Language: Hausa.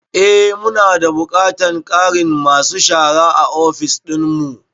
Eh. mu na da buƙatar ƙarin masu shara a ofis dinmu.